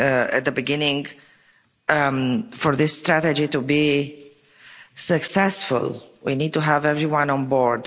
said at the beginning, for this strategy to be successful we need to have everyone on board.